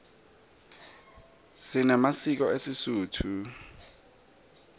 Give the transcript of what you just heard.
sinemasiko esisotho